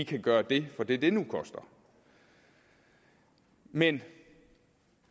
kan gøre det for det det nu koster men